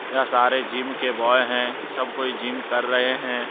यहां सारे जिम के ब्वाय है सब कोई जिम कर रहे हैं।